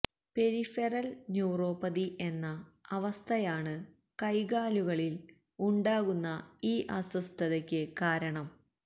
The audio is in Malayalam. പെരിഫെറല് ന്യൂറോപ്പതി എന്ന അവസ്ഥയാണ് കൈകാലുകളില് ഉണ്ടാകുന്ന ഈ അസ്വസ്ഥതയ്ക്ക് കാരണം